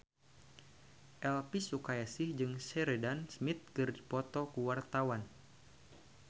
Elvy Sukaesih jeung Sheridan Smith keur dipoto ku wartawan